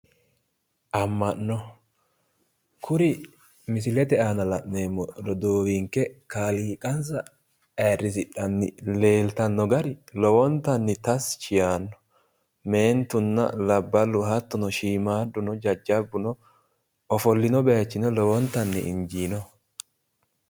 Amma'no. Kuri misilete aana la'neemmo roduuwinke kaaliiqansa ayirrisidhanni leeltanno gari lowontanni tashshi yaanno. Meentunna labballu hattono shiimaadduno jajjabbuno ofollino bayichino lowontanni injiinoho.